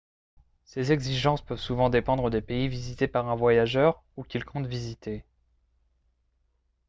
ces exigences peuvent souvent dépendre des pays visités par un voyageur ou qu'il compte visiter